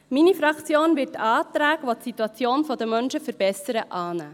Meine Fraktion wird Anträge, welche die Situation der Menschen verbessert, annehmen.